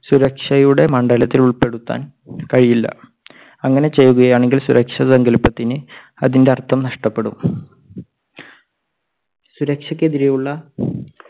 സുരക്ഷയുടെ മണ്ഡലത്തിൽ ഉൾപ്പെടുത്താൻ കഴിയില്ല. അങ്ങനെ ചെയ്യുകയാണെങ്കിൽ സുരക്ഷാ സങ്കൽപ്പത്തിന് അതിൻറെ അർത്ഥം നഷ്ടപ്പെടും. സുരക്ഷക്കെതിരെയുള്ള